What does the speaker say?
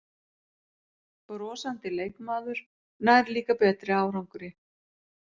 Brosandi leikmaður nær líka betri árangri